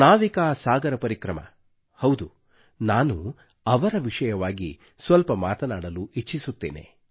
ನಾವಿಕಾ ಸಾಗರ ಪರಿಕ್ರಮ ಹೌದು ನಾನು ಅವರ ವಿಷಯವಾಗಿ ಸ್ವಲ್ಪ ಮಾತನಾಡಲು ಇಚ್ಚಿಸುತ್ತೇನೆ